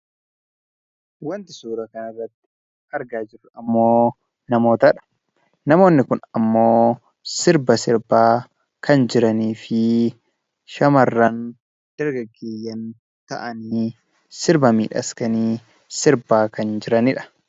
Wanti suuraa kanarratti argaa jirru ammoo namoota dha. Namoonni kun ammoo sirba sirbaa kan jiranii fi shamarran dargaggeeyyan ta'anii sirba miidhaskanii sirbaa kan jirani dha.